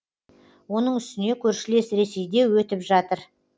оның үстіне көршілес ресейде өтіп жатыр